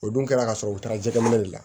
O dun kɛra ka sɔrɔ u taara jɛgɛ minɛ de la